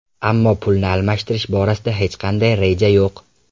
Ammo pulni almashtirish borasida hech qanday reja yo‘q.